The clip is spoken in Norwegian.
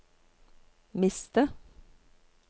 miste